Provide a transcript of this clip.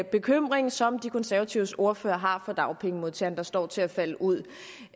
bekymring som de konservatives ordfører har for dagpengemodtagerne der står til at falde ud